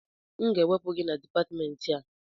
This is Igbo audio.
M ga-ewepụ gị na Dipatmentị a!